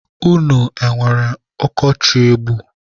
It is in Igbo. Unu enwere ọkọchị egbu?